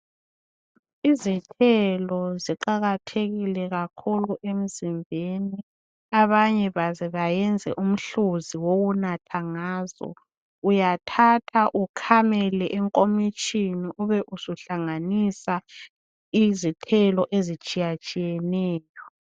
Izithelo siqakathekile kakhulu emzimbeni abanye baze bayenze umhluzi wokunatha ngazo, uyathatha ukhamele enkomitshini ube ubusuhlanganisa izithelo ezitshiyatshiyeneyo.